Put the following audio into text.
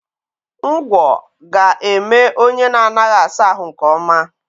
Ngwọ ga-eme onye na-anaghị asa ahụ nke ọma